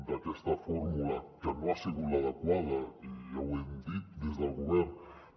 d’aquesta fórmula que no ha sigut l’adequada i ja ho hem dit des del govern